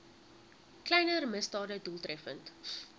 kleiner misdade doeltreffend